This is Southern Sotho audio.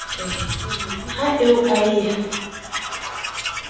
ha eo a e ya